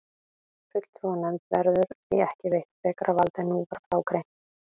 Fulltrúanefnd verður því ekki veitt frekara vald en nú var frá greint.